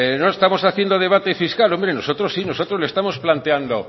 no estamos haciendo debate fiscal hombre nosotros sí nosotros le estamos planteando